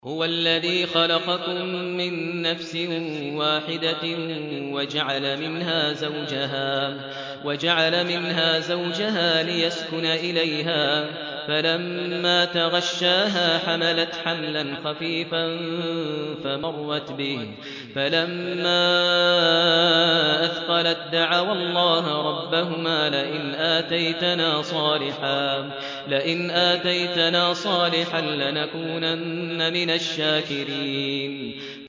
۞ هُوَ الَّذِي خَلَقَكُم مِّن نَّفْسٍ وَاحِدَةٍ وَجَعَلَ مِنْهَا زَوْجَهَا لِيَسْكُنَ إِلَيْهَا ۖ فَلَمَّا تَغَشَّاهَا حَمَلَتْ حَمْلًا خَفِيفًا فَمَرَّتْ بِهِ ۖ فَلَمَّا أَثْقَلَت دَّعَوَا اللَّهَ رَبَّهُمَا لَئِنْ آتَيْتَنَا صَالِحًا لَّنَكُونَنَّ مِنَ الشَّاكِرِينَ